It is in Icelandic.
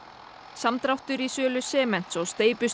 samdráttur í sölu sements og